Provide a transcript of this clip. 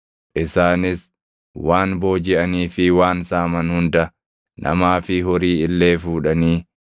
Isaanis waan boojiʼanii fi waan saaman hunda namaa fi horii illee fuudhanii